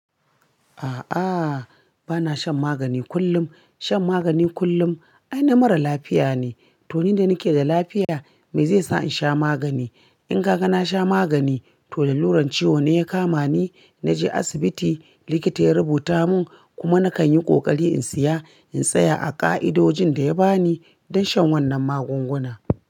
A'a, bana shan magani kullum. Shan magani kullum aina mara lafiya ne. To ni da nike da lafiya me zai sa in sha magani? In kaga na sha magani to da luran ciwo ne ya kama ni, na je asibiti likita ya rubuta mun kuma nakan yi ƙoƙari in siya in tsaya a ƙa'idojin da ya bani don shan wannan magunguna.